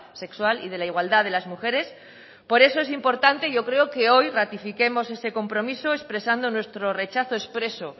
sexual y de la igualdad de las mujeres por eso es importante yo creo que hoy ratifiquemos este compromiso expresando nuestro rechazo expreso